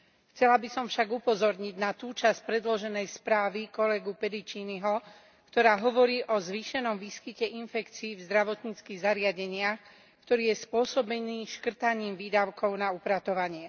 Chcela by som však upozorniť na tú časť predloženej správy kolegu Pediciniho, ktorá hovorí o zvýšenom výskyte infekcií v zdravotníckych zariadeniach, ktorý je spôsobený škrtaním výdavkov na upratovanie.